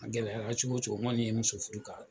A gɛlɛyara cogo cogo n kɔni ye muso furu ka